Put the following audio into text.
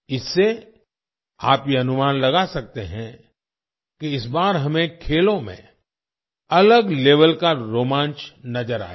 इससे आप ये अनुमान लगा सकते हैं कि इस बार हमें खेलों में अलग लेवेल का रोमांच नजर आएगा